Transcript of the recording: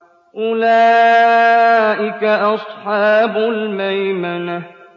أُولَٰئِكَ أَصْحَابُ الْمَيْمَنَةِ